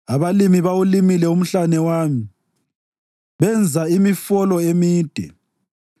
Abalimi bawulimile umhlane wami benza imifolo emide.